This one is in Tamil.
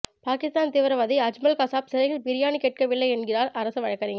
பாகிஸ்தான் தீவிரவாதி அஜ்மல் கசாப் சிறையில் பிரியாணி கேட்கவில்லை என்கிறார் அரசு வழக்கறிஞர்